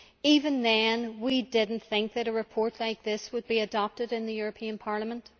Even then, we did not think that a report like this would be adopted in the European Parliament.